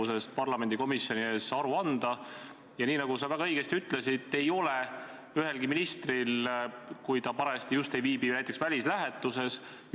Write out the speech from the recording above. Seesama Mary Krossi või Mary Jordani juhtum on väga ilmekas näide sellest, kuidas õigusemõistmises on midagi valesti.